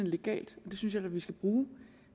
legalt det synes jeg da vi skal bruge